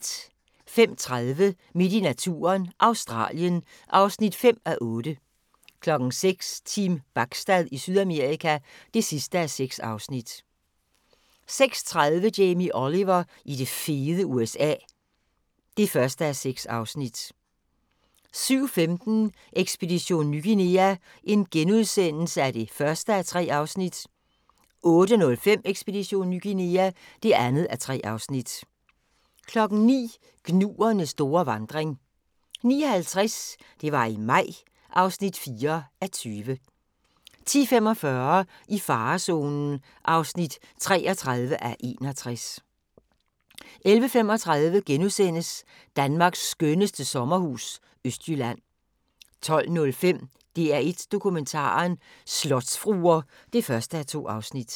05:30: Midt i naturen – Australien (5:8) 06:00: Team Bachstad i Sydamerika (6:6) 06:30: Jamie Oliver i det fede USA (1:6) 07:15: Ekspedition Ny Guinea (1:3)* 08:05: Ekspedition Ny Guinea (2:3) 09:00: Gnuernes store vandring 09:50: Det var i maj (4:20) 10:45: I farezonen (33:61) 11:35: Danmarks skønneste sommerhus – Østjylland * 12:05: DR1 Dokumentaren: Slotsfruer (1:2)